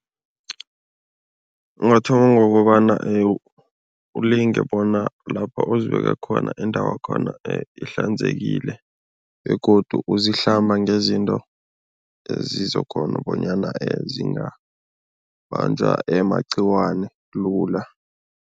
Ungathoma ngokobana ulinge bona lapha uzibeke khona, indawakhona ihlanzekile begodu uzihlamba ngezinto ezizokghona bonyana zingabanjwa magcikwane lula.